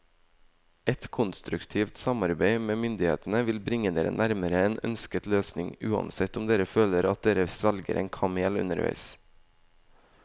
Et konstruktivt samarbeid med myndighetene vil bringe dere nærmere en ønsket løsning, uansett om dere føler at dere svelger en kamel underveis.